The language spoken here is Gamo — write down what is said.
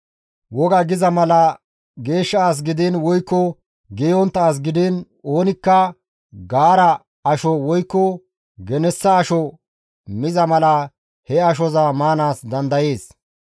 Wogay giza mala geeshsha as gidiin woykko geeyontta as gidiin oonikka gaara asho woykko genessa asho miza mala he ashoza maanaas dandayees.